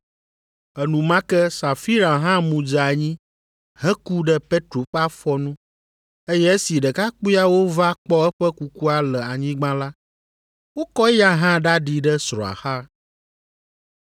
Enumake Safira hã mu dze anyi heku ɖe Petro ƒe afɔ nu eye esi ɖekakpuiawo va kpɔ eƒe kukua le anyigba la, wokɔ eya hã ɖaɖi ɖe srɔ̃a xa.